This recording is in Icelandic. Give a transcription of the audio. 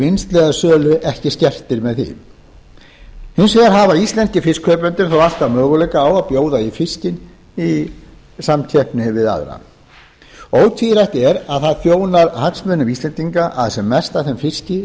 vinnslu eða sölu ekki skertir með því hins vegar hefðu íslenskir fiskkaupendur þá alltaf möguleika á að bjóða í fiskinn í samkeppni við aðra ótvírætt er að það þjónar hagsmunum íslendinga að sem mest af þeim fiski